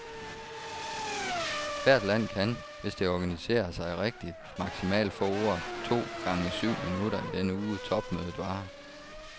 Hvert land kan, hvis det organiserer sig rigtigt, maksimalt få ordet to gange syv minutter i den uge, topmødet varer.